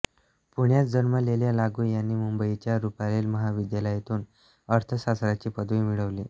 पुण्यात जन्मलेल्या लागू यांनी मुंबईच्या रुपारेल महाविद्यालयातून अर्थशास्त्राची पदवी मिळवली